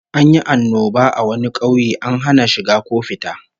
An yi annoba a wani kauye, an hana shiga ko fita